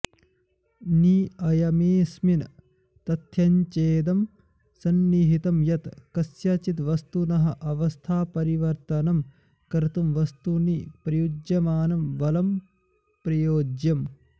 निअयमेऽस्मिन् तथ्यञ्चेदं सन्निहितं यत् कस्यचित् वस्तुनः अवस्थापरिवर्त्तनम् कर्तुं वस्तुनि प्रयुज्यमानं बलं प्रयोज्यम्